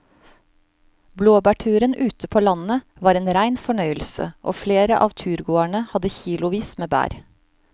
Blåbærturen ute på landet var en rein fornøyelse og flere av turgåerene hadde kilosvis med bær.